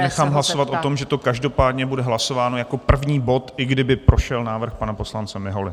Já nechám hlasovat o tom, že to každopádně bude hlasováno jako první bod, i kdyby prošel návrh pana poslance Miholy.